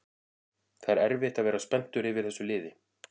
Það er erfitt að vera spenntur yfir þessu liði